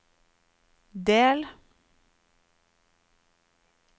del